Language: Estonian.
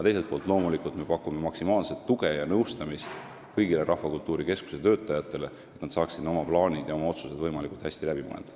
Teiselt poolt me pakume loomulikult maksimaalset tuge ja nõustamist kõigile Rahvakultuuri Keskuse töötajatele, et nad saaksid oma plaanid ja otsused võimalikult hästi läbi mõelda.